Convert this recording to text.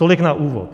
Tolik na úvod.